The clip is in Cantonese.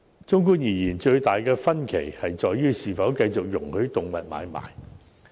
綜觀而言，最大的分歧在於是否繼續容許動物買賣。